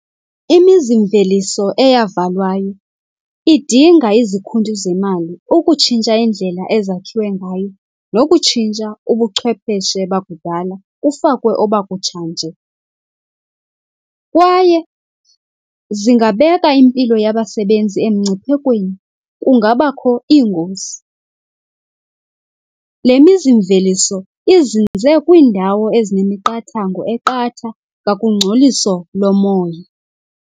Imizimveliso eyavalwayo idinga izikhuntyu zemali ukutshintsha indlela ezakhiwe ngayo nokutshintsha ubuchwepheshe bakudala kufakwe obakutshanje. Kwaye zingabeka impilo yabasebenzi emngciphekweni, kungabakho iingozi. Lemizimveliso izinze kwiindawo ezinemiqathango eqatha ngakungcoliso lomoya.